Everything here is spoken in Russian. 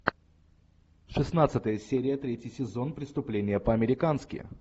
шестнадцатая серия третий сезон преступление по американски